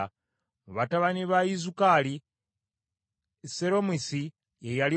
Mu batabani ba Izukali, Seromisi ye yali omukulu.